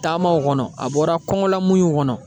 Taamaw kɔnɔ a bɔra kɔngɔ lamuɲuw kɔnɔ